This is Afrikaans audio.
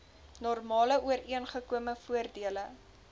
normale ooreengekome voordele